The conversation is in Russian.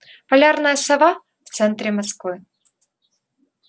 полярная сова в центре москвы